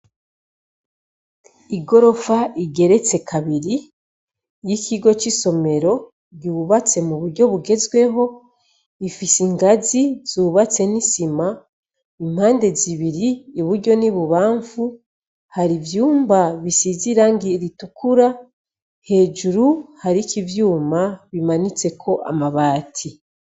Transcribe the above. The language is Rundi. Igorofa igeretse kabiri ifise y'ikigo c'isomero, yubatswe muburyo bugezweho, ifise ingazi zubatse n'isima, impande zibiri iburyo n'ibubamfu har'ivyumba bisize irangi ritukura, hejuru hariko ivyuma bimanitseko amabati.